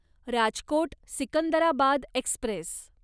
Rajkot Secunderabad Express